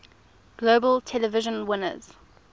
globe television winners